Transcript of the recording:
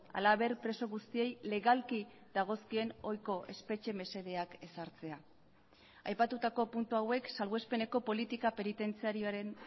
halaber preso guztiei legalki dagozkien ohiko espetxe mesedeak ezartzea aipatutako puntu hauek salbuespeneko politika penitentziarioaren